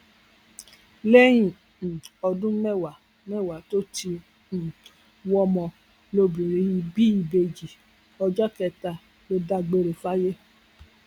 lẹyìn um ọdún mẹwàá mẹwàá tó ti um ń wọmọ lobìnrin yìí bí ìbejì ọjọ kẹta ló dágbére fáyé